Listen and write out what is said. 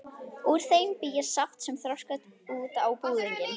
Úr þeim bý ég saft sem þroskast út á búðing.